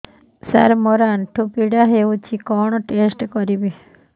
ସାର ମୋର ଆଣ୍ଠୁ ପୀଡା ହଉଚି କଣ ଟେଷ୍ଟ କରିବି